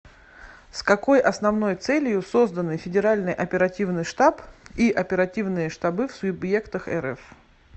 с какой основной целью созданы федеральный оперативный штаб и оперативные штабы в субъектах рф